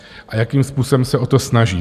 A jakým způsobem se o to snaží?